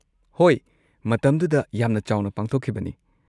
ꯍꯣꯏ, ꯃꯇꯝꯗꯨꯗ ꯌꯥꯝꯅ ꯆꯥꯎꯅ ꯄꯥꯡꯊꯣꯛꯈꯤꯕꯅꯤ꯫